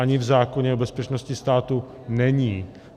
Ani v zákoně o bezpečnosti státu není.